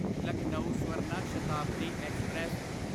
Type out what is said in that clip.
Lucknow Swarna Shatabdi express